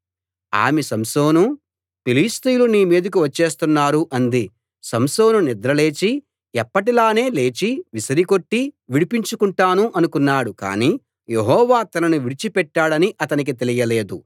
ఆమె సంసోనూ ఫిలిష్తీయులు నీ మీదకు వచ్చేస్తున్నారు అంది సంసోను నిద్ర లేచి ఎప్పటి లానే లేచి విసిరికొట్టి విడిపించుకుంటాను అనుకున్నాడు కానీ యెహోవా తనను విడిచి పెట్టాడని అతనికి తెలియలేదు